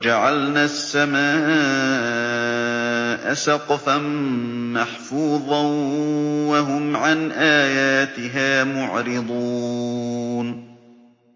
وَجَعَلْنَا السَّمَاءَ سَقْفًا مَّحْفُوظًا ۖ وَهُمْ عَنْ آيَاتِهَا مُعْرِضُونَ